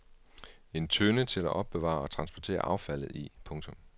En tønde til at opbevare og transportere affaldet i. punktum